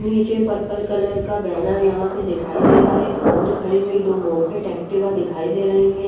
निचे purple colour का banner यहाँ पे दिखाइ दे रहा है सामने खड़ी हुई दो मुपेट एक्टिवा दिखाई दे रही है ।